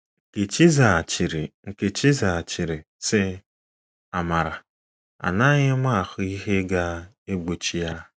Nkechi zaghachiri Nkechi zaghachiri, sị, “ Amara, anaghị m ahụ ihe ga-egbochi ya. ”